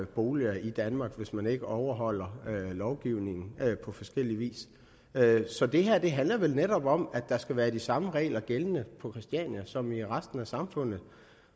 boliger i danmark hvis man ikke overholder lovgivningen på forskellig vis så det her handler vel netop om at der skal være de samme regler gældende på christiania som i resten af samfundet